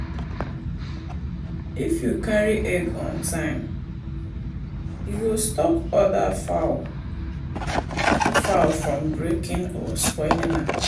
if you carry egg on time e go stop other fowl fowl from breaking or spoil am.